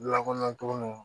Lakana tugunnu